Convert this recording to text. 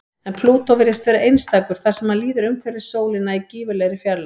En Plútó virðist vera einstakur þar sem hann líður umhverfis sólina í gífurlegri fjarlægð.